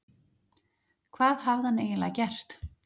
Hvað hafði hann eiginlega gert?